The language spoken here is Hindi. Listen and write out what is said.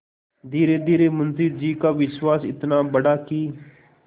धीरेधीरे मुंशी जी का विश्वास इतना बढ़ा कि